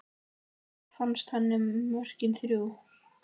Hvað fannst henni um mörkin þrjú?